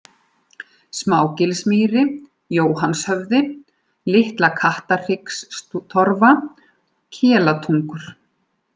Smágilsmýri, Jóhannshöfði, Litla-Kattarhryggstorfa, Kelatungur